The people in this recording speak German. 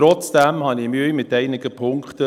Trotzdem habe ich Mühe mit einigen Punkten.